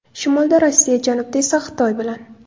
Shimolda Rossiya, janubda esa Xitoy bilan.